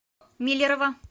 миллерово